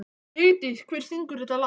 Vigdís, hver syngur þetta lag?